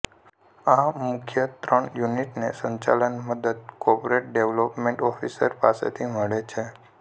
આ મુખ્ય ત્રણ યુનિટને સંચાલન મદદ કોર્પોરેટ ડેવલપમેન્ટ ઓફિસર પાસેથી મળે છે